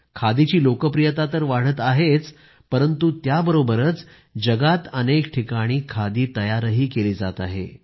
खादीची लोकप्रियता तर वाढत आहेच परंतु त्याबरोबरच जगात अनेक ठिकाणी खादी तयारही केली जात आहे